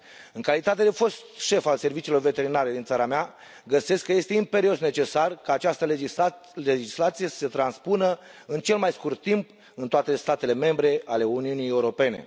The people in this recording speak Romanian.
În calitate de fost șef al serviciilor veterinare din țara mea, găsesc că este imperios necesar ca această legislație să se transpună în cel mai scurt timp în toate statele membre ale Uniunii Europene.